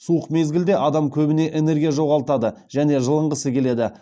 суық мезгілде адам көбіне энергия жоғалтады және жылынғысы келеді